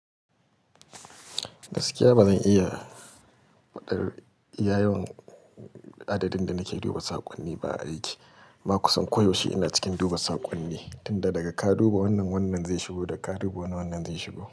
Gaskiya ba zan iya faɗar iya yawan adadin da nake duba saƙonni ba a aiki. Kuma kusan koyaushe ina cikin duba saƙonni, tunda daga ka duba wannan wannan zai shigo, daga ka duba wannan wannan zai shigo.